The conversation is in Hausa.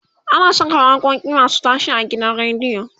ana Saka waƙoƙi masu tashe a gidan radio